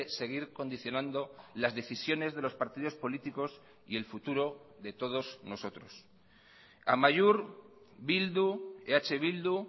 seguir condicionando las decisiones de los partidos políticos y el futuro de todos nosotros amaiur bildu eh bildu